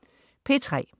P3: